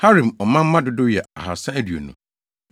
Harim ɔmanmma dodow yɛ 2 320 1